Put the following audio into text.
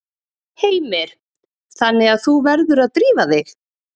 Heimir: Þannig að þú verður að drífa þig?